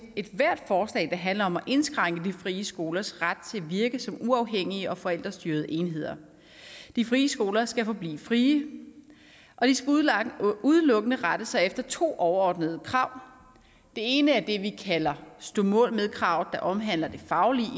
ethvert forslag der handler om at indskrænke de frie skolers ret til at virke som uafhængige og forældrestyrede enheder de frie skoler skal forblive frie og de skal udelukkende rette sig efter to overordnede krav det ene er det vi kalder stå mål med krav der omhandler det faglige